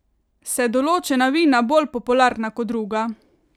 Se določena vina bolj popularna kot druga?